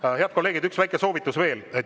Aga, head kolleegid, üks väike soovitus.